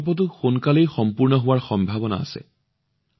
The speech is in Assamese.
এই প্ৰকল্পটো সোনকালেই সম্পূৰ্ণ হোৱাৰ সম্ভাৱনা আছে